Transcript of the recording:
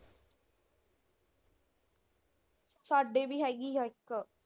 ਸਾਡੇ ਵੀ ਹੈਗੀ ਆ ਇੱਕ।